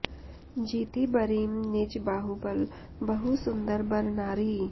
जीति बरीं निज बाहुबल बहु सुंदर बर नारि